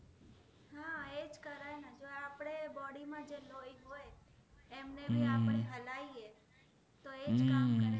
એમને બી આપણે હલાવી એ તો એજ કામ કરે